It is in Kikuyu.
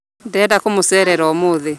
Ndĩrenda kũmũcerera ũmũthĩ